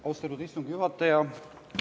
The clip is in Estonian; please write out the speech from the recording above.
Austatud istungi juhataja!